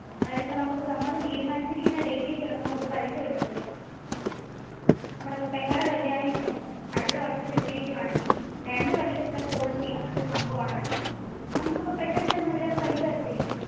അതായത് ഇപ്പോ നമ്മൾ തീരുമാനിച്ചിരിക്കുന്ന datil ചിലപ്പോ നമ്മുക് പൈസ കിട്ടത്തില്ല. നമ്മുടെ പെങ്ങളുടെ കല്യാണം ഇപ്പോ അടുത്ത വര്ഷം വെച്ചിരിക്കുവാണെങ്കിൽ, രണ്ടു വർഷത്തെ policy അങ്ങനെ ഒരു സംഭവം ആണെങ്കിൽ, നമ്മുക് ഇപ്പോ പെട്ടന് ചെന്നാൽ അവര് പൈസ തരത്തില്ല.